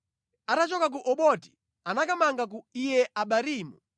Atachoka ku Oboti anakamanga ku Iye-Abarimu.